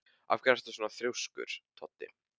Af hverju ertu svona þrjóskur, Toddi?